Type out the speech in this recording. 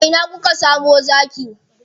A ina kuka samu zaki?